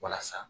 Walasa